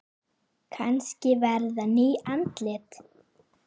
Kannski verða ný andlit.